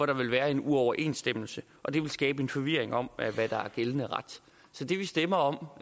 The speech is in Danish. der være en uoverensstemmelse og det vil skabe en forvirring om hvad der er gældende ret så det vi stemmer om